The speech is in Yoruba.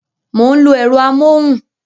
Mo ń lo ẹ̀rọ amóhùn